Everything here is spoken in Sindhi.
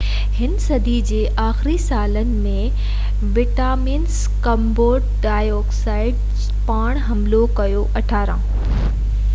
18هين صدي جي آخري سالن ۾ ويٽناميز ڪمبوڊيا تي پڻ حملو ڪيو